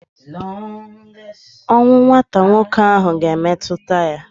Ọnwụ nwata nwoke ahụ ga-emetụta ya.